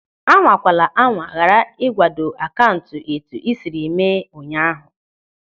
Anwakwala anwa ghara igwado akaụntụ etu ị siri mee ụnyaahụ!